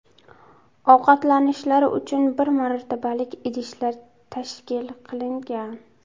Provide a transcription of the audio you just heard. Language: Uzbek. Ovqatlanishlari uchun bir marotabalik idishlar tashkil qilingan.